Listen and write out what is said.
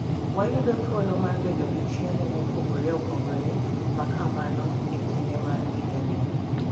Wayudo thuolo mar bedo gi chiemo mopogore opogore ma kamano e kinde mar higani.